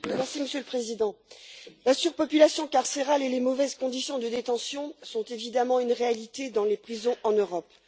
Monsieur le Président, la surpopulation carcérale et les mauvaises conditions de détention sont évidemment une réalité dans les prisons en Europe.